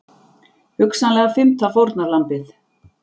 Hugsanlega fimmta fórnarlambið